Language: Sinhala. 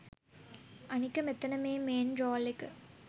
අනික මෙතන මේ මේන් රෝල් එක